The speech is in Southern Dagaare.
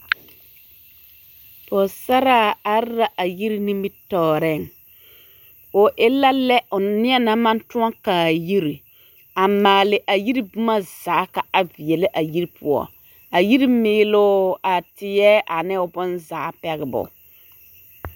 Pɔgesaraa are la a yiri nimitɔɔreŋ, o e la lɛ neɛ naŋ maŋ tõɔ kaa yiri a maale a yiri boma zaa ka a veɛlɛ a yiri poɔ a yiri meeloo, a teɛ ane o bonzaa pɛgebo.